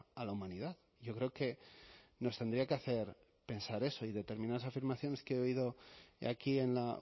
a la humanidad yo creo que nos tendría que hacer pensar eso y determinadas afirmaciones que he oído aquí en la